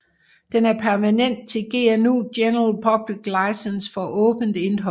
Den er pendanten til GNU General Public License for åbent indhold